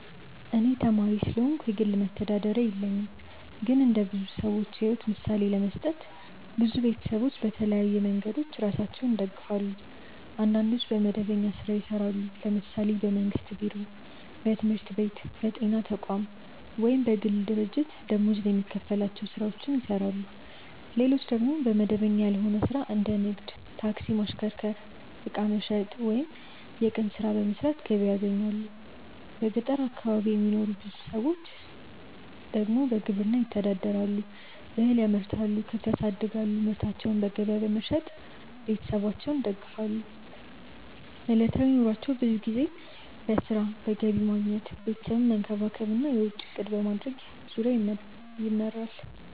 እኔ ተማሪ ስለሆንኩ የግል መተዳደሪያ የለኝም። ግን እንደ ብዙ ሰዎች ሕይወት ምሳሌ ለመስጠት፣ ብዙ ቤተሰቦች በተለያዩ መንገዶች ራሳቸውን ይደግፋሉ። አንዳንዶች በመደበኛ ሥራ ይሰራሉ፤ ለምሳሌ በመንግስት ቢሮ፣ በትምህርት ቤት፣ በጤና ተቋም ወይም በግል ድርጅት ደመወዝ የሚከፈላቸው ሥራዎችን ይሰራሉ። ሌሎች ደግሞ በመደበኛ ያልሆነ ሥራ እንደ ንግድ፣ ታክሲ ማሽከርከር፣ ዕቃ መሸጥ ወይም የቀን ሥራ በመስራት ገቢ ያገኛሉ። በገጠር አካባቢ የሚኖሩ ብዙ ሰዎች ደግሞ በግብርና ይተዳደራሉ፤ እህል ያመርታሉ፣ ከብት ያሳድጋሉ እና ምርታቸውን በገበያ በመሸጥ ቤተሰባቸውን ይደግፋሉ። ዕለታዊ ኑሯቸው ብዙ ጊዜ በሥራ፣ በገቢ ማግኘት፣ ቤተሰብን መንከባከብ እና የወጪ እቅድ ማድረግ ዙሪያ ይመራል።